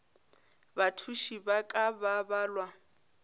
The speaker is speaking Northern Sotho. bathuši ba ka ba balwa